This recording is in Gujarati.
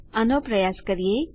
આનો પ્રયાસ કરીએ